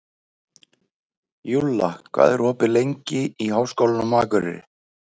Júlla, hvað er opið lengi í Háskólanum á Akureyri?